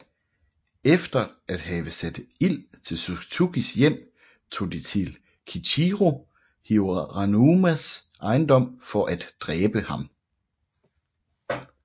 Efter at have sat ild til Suzukis hjem tog de til Kiichirō Hiranumas ejendom for at dræbe ham